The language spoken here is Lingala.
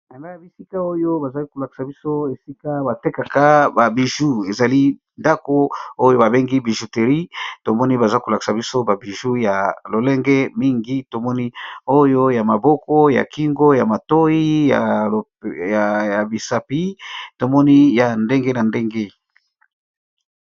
Bisika oyo bazali kolakisa biso esika batekaka babiju, ezali ndako oyo babengi bijouterie tomoni baza kolakisa biso babiju ya lolenge mingi, tomoni oyo ya maboko, ya kingo ya matoyi naya misapi tomoni ya ndenge na ndenge.